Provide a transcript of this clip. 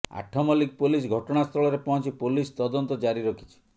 Athmallik police ଘଟଣାସ୍ଥଳରେ ପହଞ୍ଚି police ତଦନ୍ତ ଜାରି ରଖିଛି